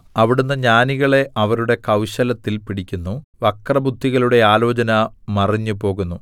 അവിടുന്ന് ജ്ഞാനികളെ അവരുടെ കൗശലത്തിൽ പിടിക്കുന്നു വക്രബുദ്ധികളുടെ ആലോചന മറിഞ്ഞുപോകുന്നു